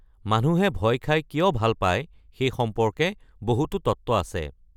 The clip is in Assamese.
মানুহে ভয় খাই কিয় ভাল পায় সেই সম্পৰ্কে বহুতো তত্ত্ব আছে।